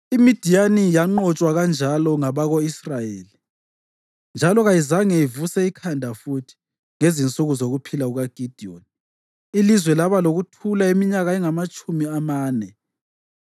IMidiyani yanqotshwa kanjalo ngabako-Israyeli njalo kayizange ivuse ikhanda futhi. Ngezinsuku zokuphila kukaGidiyoni ilizwe laba lokuthula iminyaka engamatshumi amane.